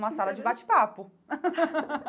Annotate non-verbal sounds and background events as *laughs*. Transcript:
Uma sala de bate-papo. *laughs*